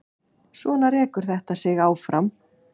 Svona rekur þetta sig áfram.